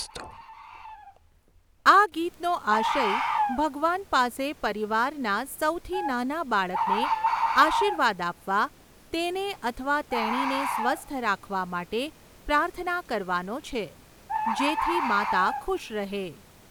આ ગીતનો આશય ભગવાન પાસે પરિવારના સૌથી નાના બાળકને આશીર્વાદ આપવા, તેને અથવા તેણીને સ્વસ્થ રાખવા માટે પ્રાર્થના કરવાનો છે જેથી માતા ખુશ રહે.